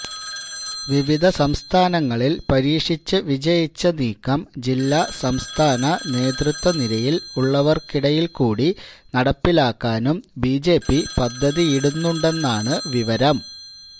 വിവിധ സംസ്ഥാനങ്ങളിൽ പരീക്ഷിച്ച് വിജയിച്ച നീക്കം ജില്ലാ സംസ്ഥാന നേതൃത്വനിരയിൽ ഉള്ളവർക്കിടയിൽ കൂടി നടപ്പിലാക്കാനും ബിജെപി പദ്ധതിയിടുന്നുണ്ടെന്നാണ് വിവരം